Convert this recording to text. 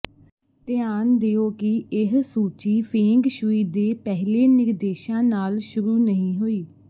ਧਿਆਨ ਦਿਓ ਕਿ ਇਹ ਸੂਚੀ ਫੇਂਗ ਸ਼ੂਈ ਦੇ ਪਹਿਲੇ ਨਿਰਦੇਸ਼ਾਂ ਨਾਲ ਸ਼ੁਰੂ ਨਹੀਂ ਹੋਈ